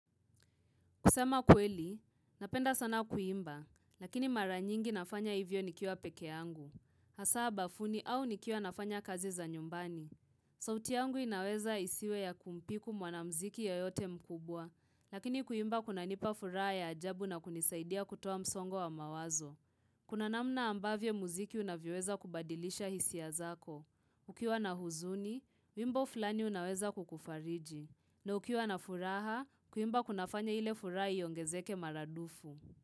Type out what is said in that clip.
Kusema kweli, napenda sana kuimba, lakini mara nyingi nafanya hivyo nikiwa peke yangu. Hasa bafuni au nikiwa nafanya kazi za nyumbani. Sauti yangu inaweza isiwe ya kumpiku mwana mziki yoyote mkubwa, lakini kuimba kuna nipa furaha ya ajabu na kunisaidia kutoa msongo wa mawazo. Kuna namna ambavyo mziki unavyoweza kubadilisha hisia zako. Mukiwa na huzuni, wimbo fulani unaweza kukufariji. Na ukiwa na furaha, kuimba kunafanya ile furahi iongezeke maradufu.